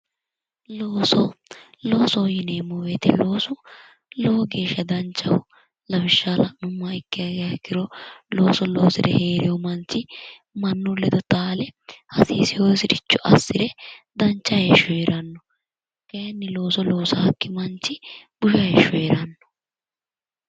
Looso. loosoho yineemo woyite lowo geesha danichaho lawishshaho la'numoha ikkiha ikkiro looso loosire herewo manichi mannu ledo taale Hasiisewosi richo assire danicha heesho heeranno kayinnila looso loosaakki manichi busha heesho heranno